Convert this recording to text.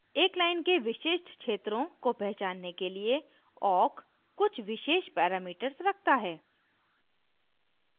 parameters : एक line के विशिष्ट क्षेत्रों को पहचानने के लिए awk कुछ विशेष parameters रखता है